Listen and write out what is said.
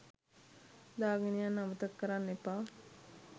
දාගෙන යන්න අමතක කරන්න එපා.